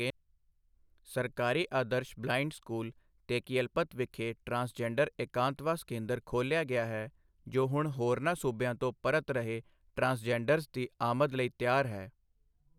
ਸਰਕਾਰੀ ਆਦਰਸ਼ blind school, ਤੇਕਿਅਲਪਤ ਵਿਖੇ ਟ੍ਰਾਂਸਜੈਂਡਰ ਇਕਾਂਤਵਾਸ ਕੇਂਦਰ ਖੋਲ੍ਹਿਆ ਗਿਆ ਹੈ, ਜੋ ਹੁਣ ਹੋਰਨਾਂ ਸੂਬਿਆਂ ਤੋਂ ਪਰਤ ਰਹੇ ਟ੍ਰਾਂਸਜੈਂਡਰਜ਼ ਦੀ ਆਮਦ ਲਈ ਤਿਆਰ ਹੈ।